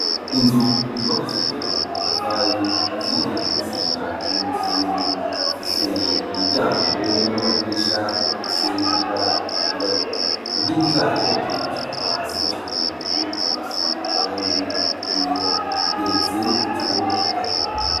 Inzu yubakishije amatafari akaziye n'isima n'umusenyi ifise imiryango n'amadirisha afise ibara ryirabura, inkingi zayo ziyifashe kuva hasi gushika hejuru zifise irangi ryera igeretse incuro zitatu.